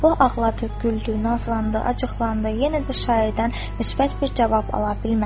O ağladı, güldü, nazlandı, acıqlandı, yenə də şairdən müsbət bir cavab ala bilmədi.